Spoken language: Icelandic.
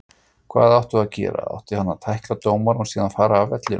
Hvað áttu að gera. átti hann að tækla dómarann og síðan fara af vellinum?